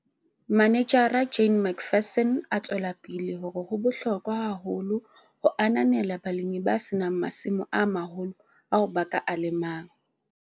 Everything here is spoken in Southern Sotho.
Manejara Jane McPherson a tswela pele hore ho bohlokwa haholo ho ananela balemi ba se nang masimo a maholo ao ba ka a lemang.